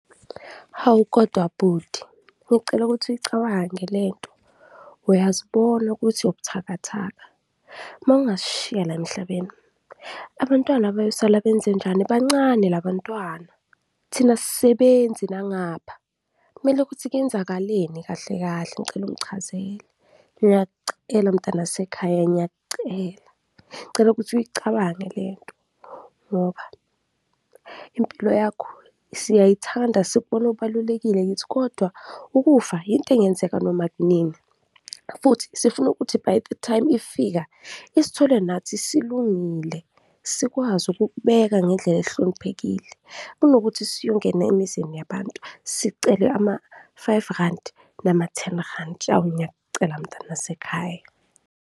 Hawu kodwa bhuti, ngicela ukuthi uyicabange le nto, uyazibona ukuthi ubuthakathaka mawungasishiya la emhlabeni, abantwana bayosala benzenjani? Bancane la bantwana, thina asisebenzi nangapha kumele ukuthi kuyenzakaleni kahle kahle? Ngicela ungichazele, ngiyakucela mtanasekhaya, ngiyakucela ngicela ukuthi uyicabange le nto ngoba impilo yakho siyayithanda, sikubona ubalulekile kithi kodwa ukufa yinto engenzeka noma kunini futhi sifuna ukuthi by the time ifika, isithole nathi silungile sikwazi ukukubeka ngendlela ehloniphekile kunokuthi siyongena emizini yabantu sicele ama-five randi nama-ten randi, awu ngiyakucela mntanasekhaya.